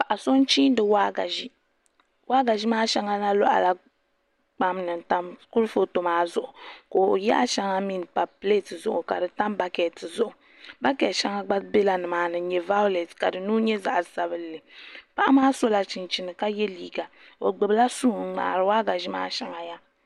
Paɣa so n chimdi waagashe waagashe maa shɛŋa na loɣala kpam ni n tam kurifooti maa zuɣu ka o yaɣa shɛŋa mii n pa pileet zuɣu ka di tam bakɛt zuɣu bakɛt shɛŋa gba bɛla nimaa ni n nyɛ vaaulɛt ka di nuu nyɛ zaɣ sabinli paɣa maa sola chinchini ka yɛ liiga o gbubila suu n ŋmaari waagashe maa shɛli yaha